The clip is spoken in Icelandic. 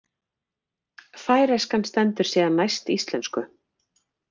Færeyskan stendur síðan næst íslensku.